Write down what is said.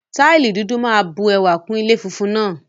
Táìlì dúdú máa bu ẹwà kún ilé funfun náà.